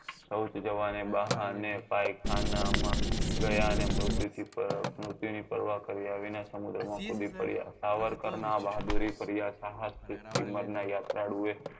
સૌચ જવાને બહાને પાયખાના માં ગયા ને મૃત્યુ થી મૃત્યુ ની પરવા કાર્ય વિના સમુદ્ર માં કુદી પડ્યા સાવરકર નાં બહાદુરી પર્યાસાહસ થી steamer નાં યાત્રાળુ એ